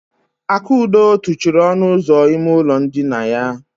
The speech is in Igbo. Akudo tụchiri ọnụ ụzọ ime ụlọ ndina ya.